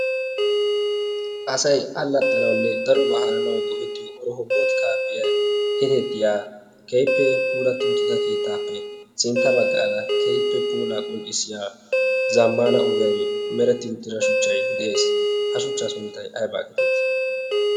asay allaxxanawunne darobaa haananawu go''ettiyo orohopoot kaapiyay keteettiya keehippe pulaati uttida keettaappe sintta baggaada keehippe pula qonddissiyaa zammaana ogiyan meretti uttira shuchchai de'ees ha shuchchaa sunttay aybaa geteetii